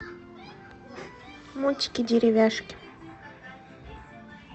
мультики деревяшки